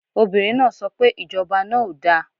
Obìnrin náà so pe Ìjọba náà ò da